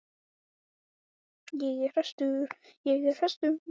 Einars Kárasonar, og félaga hans, Kjartans Ragnarssonar.